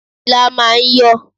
Ilá máà ń yọ̀.